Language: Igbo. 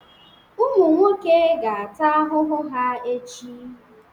Ụmụ nwoke ga-ata ahụhụ ha echi.